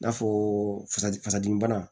I n'a fɔ fasa dimi bana